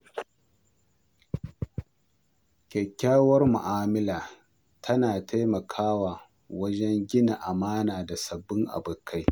Kyakkyawar mu’amala tana taimakawa wajen gina amana da sabbin abokai.